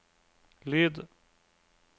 lyd